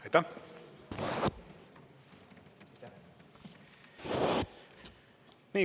Aitäh!